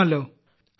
കൊള്ളാമല്ലോ